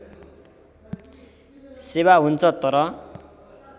सेवा हुन्छ तर